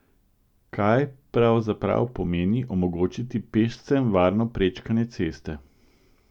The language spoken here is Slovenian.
Kaj pravzaprav pomeni omogočiti pešcem varno prečkanje ceste?